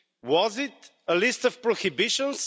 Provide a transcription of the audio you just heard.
Was it a list of prohibitions?